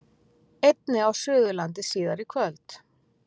Einnig á Suðurlandi síðar í kvöld